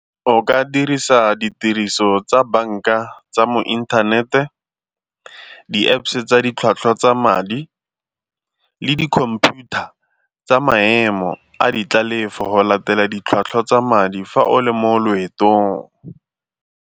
O ka dirisa ditiriso tsa banka tsa mo inthanete, di-Apps-e tsa ditlhwatlhwa tsa madi le di-computer tsa maemo a di tlalefo go latela ditlhwatlhwa tsa madi fa o le mo loetong.